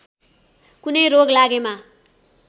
कुनै रोग लागेमा